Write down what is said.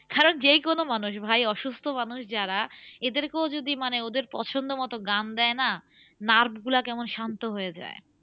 কারণ যেকোন মানুষ ভাই অসুস্থ মানুষ যারা এদের কেউ যদি মানে ওদের পছন্দ মতো গান দেয় না nerves গুলো কেমন শান্ত হয়ে যায়।